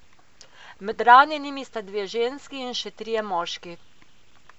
Med ranjenimi sta dve ženski in še trije moški.